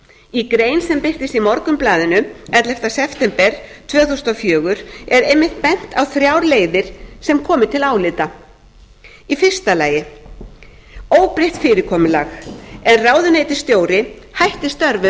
í grein sem birtist í morgunblaðinu ellefta september tvö þúsund og fjögur er einmitt bent á þrjár leiðir sem komi til álita fyrstu óbreytt fyrirkomulag en ráðuneytisstjóri hætti